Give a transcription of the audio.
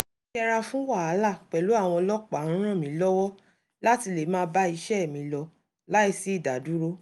yíyẹra fún wàhálà pẹ̀lú àwọn ọlọ́pàá ń ràn mí lọ́wọ́ láti lè máa bá iṣẹ́ mi lọ láìsí ìdádúró